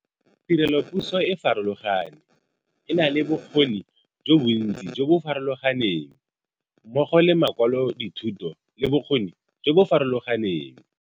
Tirelopuso e farologane, e na le bokgoni jo bontsi jo bo farologaneng, mmogo le ma kwalodithuto le bokgoni jo bo farologaneng.